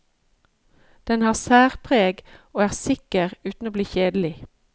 Den har særpreg og er sikker uten å bli kjedelig.